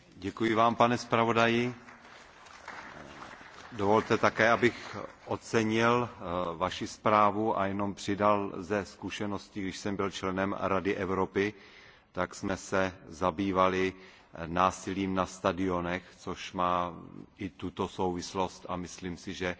Děkuji Vám, pane zpravodaji, dovolte, abych také ocenil Vaši zprávu a jenom dodal ze zkušenosti, že když jsem byl členem Rady Evropy, tak jsme se zabývali násilím na stadionech, což má i tuto souvislost, a myslím si, že